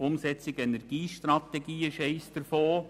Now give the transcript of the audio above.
Die Umsetzung der Energiestrategie war eines davon.